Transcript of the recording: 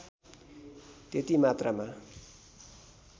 त्यति मात्रामा